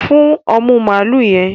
Fún omú maalu yẹn